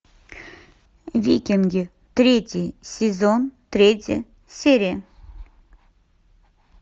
викинги третий сезон третья серия